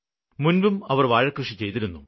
മുന്പും അവര് വാഴ കൃഷി ചെയ്തിരുന്നു